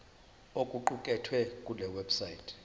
okuqukethwe kule website